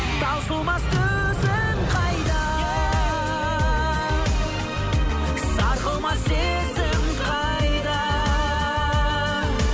таусылмас төзім қайда сарқылмас сезім қайда